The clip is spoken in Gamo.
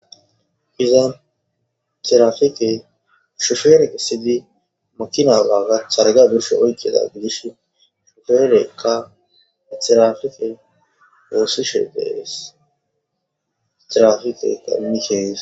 Iza tropikey shupere esid targa oykidiga gidishn trapikey wosishe de'es. Trapikeyka imeke ges.